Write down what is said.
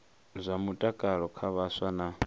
zwa mutakalo kha vhaswa na